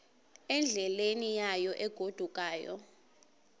endleleni yayo egodukayo